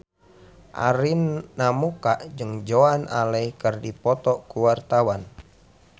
Arina Mocca jeung Joan Allen keur dipoto ku wartawan